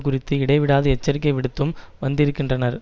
குறித்து இடைவிடாது எச்சரிக்கை விடுத்தும் வந்திருக்கின்றனர்